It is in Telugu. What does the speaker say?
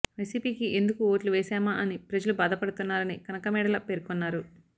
వైసీపీకి ఎందుకు ఓట్లు వేశామా అని ప్రజలు బాధపడుతున్నారని కనకమేడల పేర్కొన్నారు